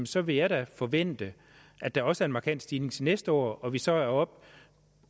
så vil jeg da forvente at der også er en markant stigning til næste år og at vi så